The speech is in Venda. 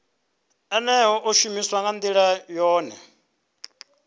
ḽeneḽo ḽi shumiswa nga nḓilaḓe